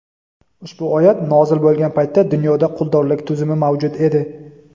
ushbu oyat nozil bo‘lgan paytda dunyoda quldorlik tuzumi mavjud edi.